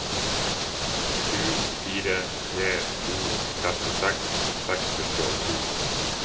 sju fire tre to trettiseks seks hundre og to